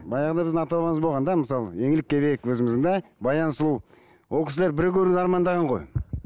баяғыда біздің ата бабамыз болған да мысалы еңлік кебек өзіміздің да баян сұлу ол кісілер бір көруді армандаған ғой